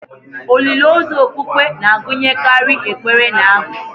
Olili ozu okpukpe na-agụnyekarị ekpere na abụ